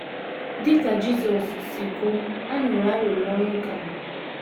Dị ka Jisọs si kwuo, a nụrụ arịrịọ nwoke a.